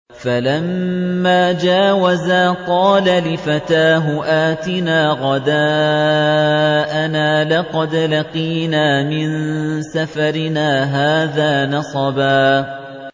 فَلَمَّا جَاوَزَا قَالَ لِفَتَاهُ آتِنَا غَدَاءَنَا لَقَدْ لَقِينَا مِن سَفَرِنَا هَٰذَا نَصَبًا